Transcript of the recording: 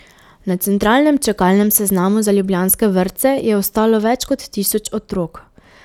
Na centralnem čakalnem seznamu za ljubljanske vrtce je ostalo več kot tisoč otrok.